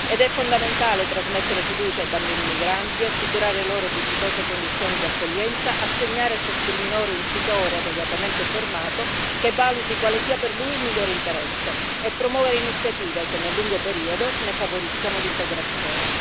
Ed è fondamentale trasmettere fiducia ai bambini migranti, assicurare loro dignitose condizioni di accoglienza, assegnare a ciascun minore un tutore adeguatamente formato che valuti quale sia per lui il migliore interesse e promuovere iniziative che nel lungo periodo ne favoriscano l'integrazione.